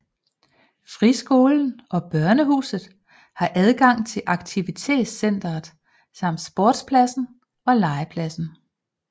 Friskolen og Børnehuset har adgang til Aktivcentret samt sportspladsen og legepladsen